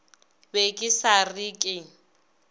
be ke sa re ke